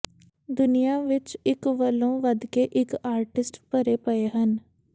ਦੁਨੀਆਂ ਵਿੱਚ ਇੱਕ ਵਲੋਂ ਵਧਕੇ ਇੱਕ ਆਰਟਿਸਟ ਭਰੇ ਪਏ ਹਨ